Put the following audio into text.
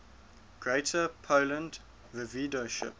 greater poland voivodeship